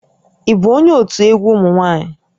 Ị bụ onye òtù egwu ụmụ nwa+nyị?